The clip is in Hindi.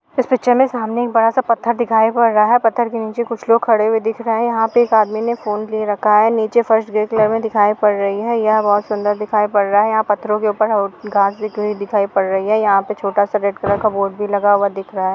यहा हमें सामने एक बड़ा सा पत्थर दिखाई पड़ रहा है। पत्थर के नीचे कुछ लोग खड़े हुए दिख रहे हैं यंहा पे एक आदमी ने फोन ले रखा है नीचे फर्श ग्रे कलर मे दिखायी पड़ रही है यह बोहोत सुन्दर दिखाई पड़ रहा है। यहां पत्थरों के ऊपर घास दिखाई पड़ रही है | यहाँ छोटा सा रेड कलर का बोर्ड भी लगा हुआ दिख रहा है।